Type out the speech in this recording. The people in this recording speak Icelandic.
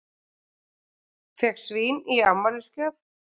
Fékk svín í afmælisgjöf